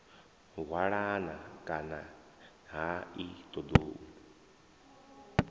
hwalana kani ha ni ṱoḓou